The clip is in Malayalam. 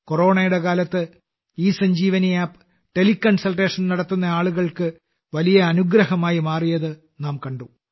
കൊറോണയുടെ കാലത്ത് ഇസഞ്ജീവനി ആപ്പ് ടെലി കൺസൾട്ടേഷൻ നടത്തുന്ന ആളുകൾക്ക് വലിയ അനുഗ്രഹമായി മാറിയത് നാം കണ്ടു